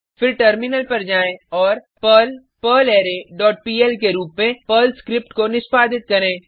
फिर टर्मिनल पर जाएँ और पर्ल पर्लरे डॉट पीएल के रूप में पर्ल स्क्रिप्ट को निष्पादित करें